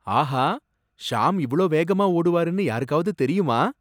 ஆஹா! ஷாம் இவ்வளவு வேகமா ஓடுவாருனு யாருக்காவது தெரியுமா?